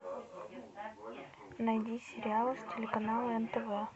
найди сериал с телеканала нтв